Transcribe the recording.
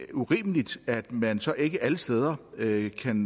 urimeligt at man så ikke alle steder kan